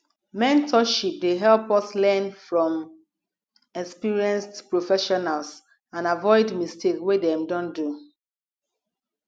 mentorship dey help us learn from experienced professionals and aviod mistakes wey dem don make